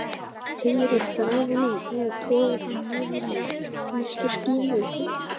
Teygir á þræðinum eða togar hann niður í minnstu skímu?